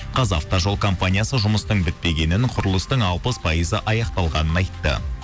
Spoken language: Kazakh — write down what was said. қазавтожол компаниясы жұмыстың бітпегенін құрылыстың алпыс пайызы аяқталғанын айтты